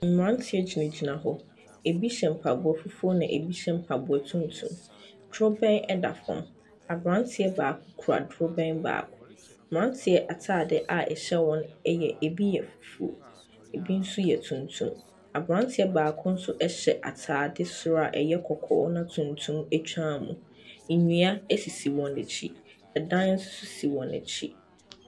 Mmranteɛ gyinagyina hɔ. Ebi hyɛ mpaboa fufuo na ebi hyɛ mpaboa tumtum. Durobɛn ɛda fam. Abranteɛ baako kura durobɛn no baako. Mmranteɛ ataade a ɛhyɛ wɔn ebi yɛ fufuo, ebi nso yɛ tumtum. Abranteɛ baako nso hyɛ ataade soro a ɛyɛ kɔkɔɔ na wɔde tuntum atwa mu. Nnua ɛsisi wɔn akyi. Adan nso sisi wɔn akyi.